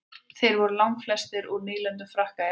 þeir voru langflestir úr nýlendum frakka í afríku